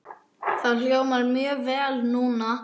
Það hljómar mjög vel núna.